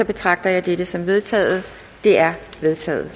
betragter jeg dette som vedtaget det er vedtaget